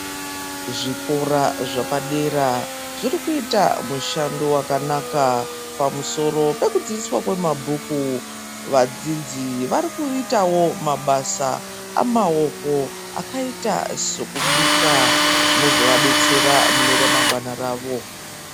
Zvikora zvepadera zvirikuita mushando wakanaka pamusoro pekudzidziswa kwemabhuku. Vadzidzi varikuitawo mabasa amaoko, akaita sokubika zvinozovadetsera muneramangwana ravo.